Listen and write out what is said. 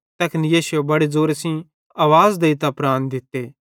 तैखन यीशुए बड़े ज़ोरे सेइं आवाज़ देइतां प्राण दित्ते